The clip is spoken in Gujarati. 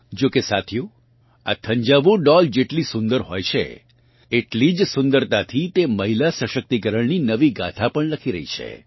જોકે સાથીઓ આ થંજાવુર ડૉલ જેટલી સુંદર હોય છે એટલી જ સુંદરતાથી તે મહિલા સશક્તિકરણની નવી ગાથા પણ લખી રહી છે